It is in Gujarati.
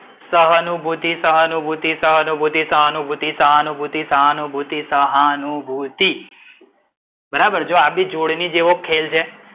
સહાનુભૂતિ, સહાનુભૂતિ, સહાનુભૂતિ, સહાનુભૂતિ, સહાનુભૂતિ, સહાનુભૂતિ. બરાબર જો આ બી જોડણી જેવો ખેલ છે.